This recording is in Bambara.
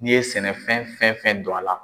N'i ye sɛnɛfɛn fɛn fɛn don a la